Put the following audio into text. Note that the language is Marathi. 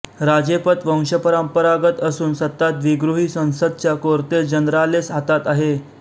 राजेपद वंशपरंपरागत असून सत्ता द्विगृही संसदच्या कोर्तेस जनरालेस हातात आहे